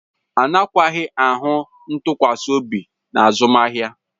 Agakwaghị ahụ ntụkwasị obi na azụmahịa